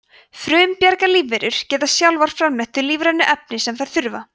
frumbjarga lífverur geta sjálfar framleitt þau lífrænu efni sem þær þurfa